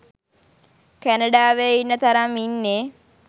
කැනඩාවේ ඉන්න තරම් ඉන්නේ